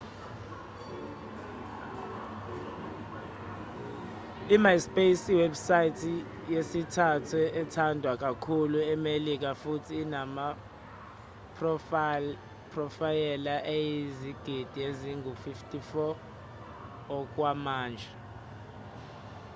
i-myspace yiwebusayithi yesithathu ethandwa kakhulu emelika futhi inamaphrofayela ayizigidi ezingu-54 okwamanje